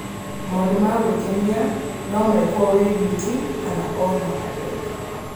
Maũndũ ma gwĩkenia no mekwo wĩ wiki kana na andũ angĩ.